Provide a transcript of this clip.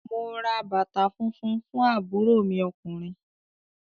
Mo ra bàtà funfun fún àbúrò mi ọkùnrin.